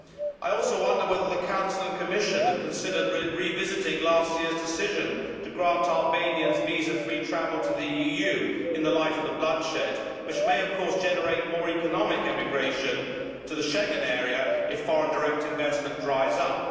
I also wonder whether the Council and Commission have considered revisiting last year's decision to grant Albanians visa free travel to the EU in the light of the bloodshed, which may, of course, generate more economic emigration to the Schengen area if foreign direct investment dries up.